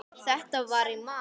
Þetta var í mars.